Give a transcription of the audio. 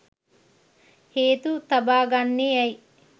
හේතු තබා ගන්නේ ඇයි?